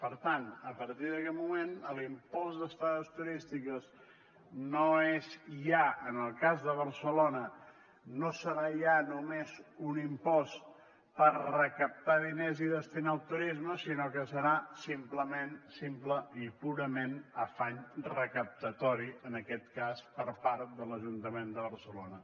per tant a partir d’aquest moment l’impost d’estades turístiques no és ja en el cas de barcelona no serà ja només un impost per recaptar diners i destinar al turisme sinó que serà simplement simplement i purament afany recaptatori en aquest cas per part de l’ajuntament de barcelona